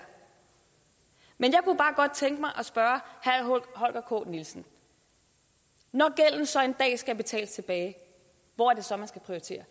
men bare godt tænke mig at spørge herre holger k nielsen når gælden så en dag skal betales tilbage hvor er det så man skal prioritere